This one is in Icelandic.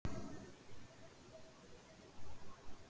Bensínið stóðst gæðakröfur